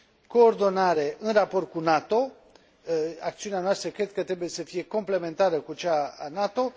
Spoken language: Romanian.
coordonare în raport cu NATO acțiunea noastră cred că trebuie să fie complementară cu cea a NATO